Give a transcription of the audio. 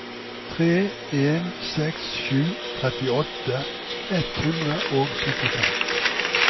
tre en seks sju trettiåtte ett hundre og syttifem